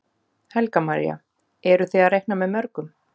Helga María: Eru þið að reikna með mörgum?